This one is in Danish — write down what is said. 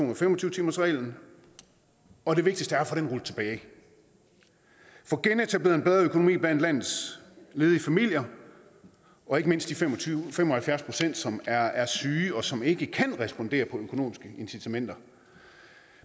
og fem og tyve timersreglen og det vigtigste er at få det rullet tilbage få genetableret en bedre økonomi blandt landets ledige familier og ikke mindst de fem og fem og halvfjerds pct som er er syge og som ikke kan respondere på økonomiske incitamenter